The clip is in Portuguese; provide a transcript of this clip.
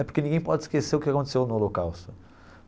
É porque ninguém pode esquecer o que aconteceu no holocausto.